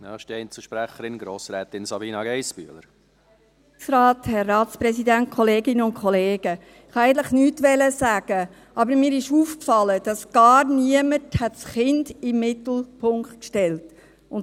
Ich wollte eigentlich nichts sagen, aber mir ist aufgefallen, dass gar niemand das Kind in den Mittelpunkt gestellt hat.